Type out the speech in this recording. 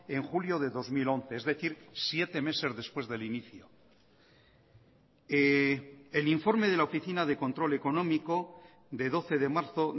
en julio de dos mil once es decir siete meses después del inicio el informe de la oficina de control económico de doce de marzo